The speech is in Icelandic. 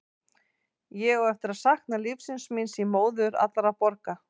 Ég á eftir að sakna lífsins míns í móður allra borga.